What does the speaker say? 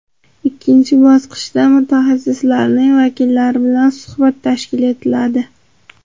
Ikkinchi bosqichda – muassasaning vakillari bilan suhbat tashkil etiladi.